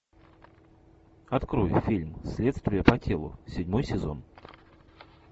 открой фильм следствие по телу седьмой сезон